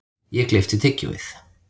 Ég gleypti tyggjóið.